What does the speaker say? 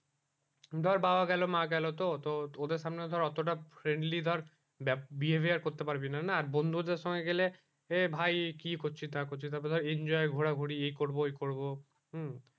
ধর বাবা গেলো মা গেলো তো তো ওদের সামনে ধর ওতো টা freindly ধর behaviour করতে পারবি না না আর বন্ধু দের সঙ্গে গেলে এই ভাই কি করছিস না করছিস তার পরে ধর enjoy ঘোরাঘুড়ি এই করবো ওই করবো হম